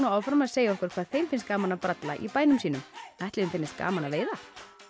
áfram að segja okkur hvað þeim finnst gaman að bralla í bænum sínum ætli þeim finnist gaman að veiða